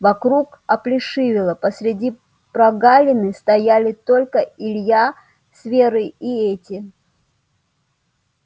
вокруг оплешивело посреди прогалины стояли только илья с верой и эти